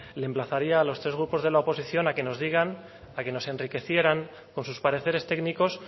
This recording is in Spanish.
le emplazaría a los tres grupos de la oposición a que nos digan a que nos enriquecieran con sus pareceres técnicos